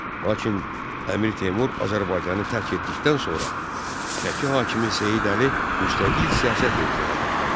Lakin Əmir Teymur Azərbaycanı tərk etdikdən sonra, Şəki hakimi Seyid Əli müstəqil siyasət yeritməyə başladı.